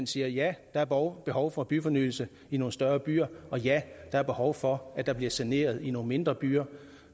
siger ja der er behov behov for byfornyelse i nogle større byer og ja der er behov for at der bliver saneret i nogle mindre byer